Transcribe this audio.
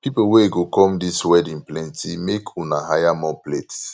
people wey go come dis wedding plenty make una hire more plates